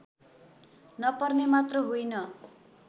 नपर्ने मात्र होइन